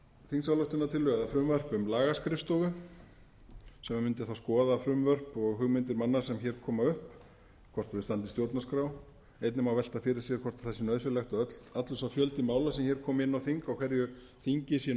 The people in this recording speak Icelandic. þingsályktunartillögu eða frumvarp um lagaskrifstofu sem mundi þá skoða frumvörp og hugmyndir manna sem hér koma upp hvort þau standist stjórnarskrá einnig má velta fyrir sér hvort það sé nauðsynlegt að allur sá fjöldi mála sem hér komi inn á þing á hverju þingi sé